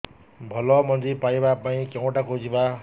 ଭଲ ମଞ୍ଜି ପାଇବା ପାଇଁ କେଉଁଠାକୁ ଯିବା